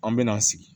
An bɛ na sigi